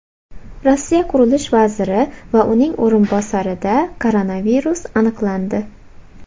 Rossiya qurilish vaziri va uning o‘rinbosarida koronavirus aniqlandi.